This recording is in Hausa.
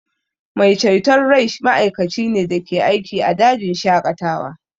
Mai ceton rai ma'aikaci ne da ke aiki a dajin shaƙatawa